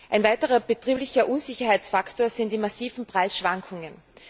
Ein weiterer betrieblicher Unsicherheitsfaktor sind die massiven Preisschwankungen.